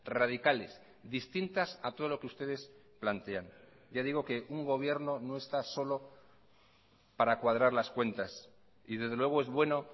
radicales distintas a todo lo que ustedes plantean ya digo que un gobierno no está solo para cuadrar las cuentas y desde luego es bueno